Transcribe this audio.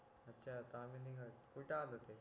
अच्छा तामिनी घाट कुठं आला ते